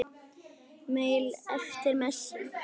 Maul eftir messu.